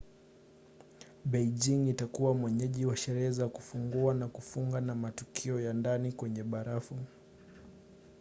beijing itakuwa mwenyeji wa sherehe za kufungua na kufunga na matukio ya ndani kwenye barafu